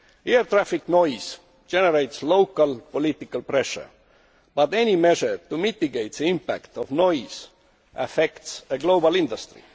Air traffic noise generates local political pressure, but any measure to mitigate the impact of noise affects a global industry.